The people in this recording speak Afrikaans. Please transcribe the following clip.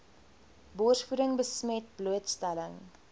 borsvoeding besmet blootstelling